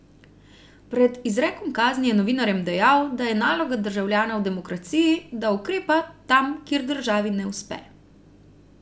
Pred izrekom kazni je novinarjem dejal, da je naloga državljana v demokraciji, da ukrepa, tam kjer državi ne uspe.